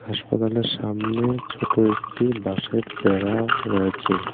হাসপাতালের সামনে ছোটো একটি বাঁশের বেড়া রয়েছে।